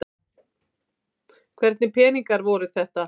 Hvernig peningar voru þetta?